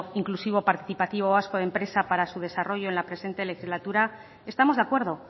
inclusivo participativo vasco de empresa para su desarrollo en la presente legislatura estamos de acuerdo